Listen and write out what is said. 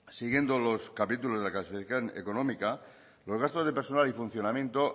siguiendo los capítulos de la clasificación económica los gastos de personal y funcionamiento